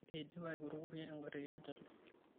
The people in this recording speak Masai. Eidipa aikurukurie engari keyieu nelo.